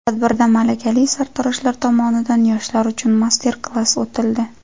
Tadbirda malakali sartaroshlar tomonidan yoshlar uchun master-klass o‘tildi.